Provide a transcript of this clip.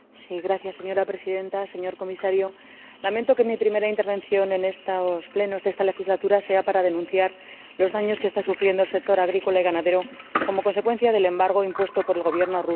Señora Presidenta, señor Comisario, lamento que mi primera intervención en el Pleno en esta legislatura sea para denunciar los daños que está sufriendo el sector agrícola y ganadero como consecuencia del embargo impuesto por el Gobierno ruso.